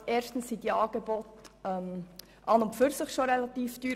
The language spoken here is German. Erstens sind diese Angebote als solche relativ teuer.